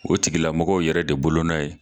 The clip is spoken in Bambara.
O tigila mɔgɔw yɛrɛ de bolonɔ ye